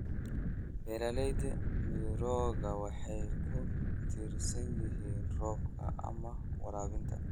Beeraleyda mirooga waxay ku tiirsan yihiin roobka ama waraabinta.